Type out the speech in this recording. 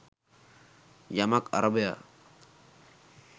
යමක් අරබයා